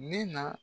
Nin na